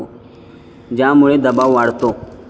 ज्यामुळे दबाव वाढतो.